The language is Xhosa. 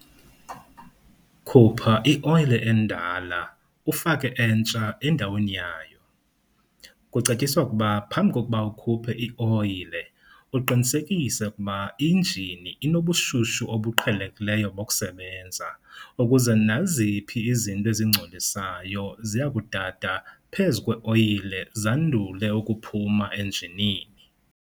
Khupha i-oyile endala ufake entsha endaweni yayo. Kucetyiswa ukuba phambi kokuba ukhuphe i-oyile uqinisekise ukuba injini inobushushu obuqhelekileyo bokusebenza ukuze naziphi izinto ezingcolisayo ziya kudada phezu kwe-oyile zandule ukuphuma enjinini.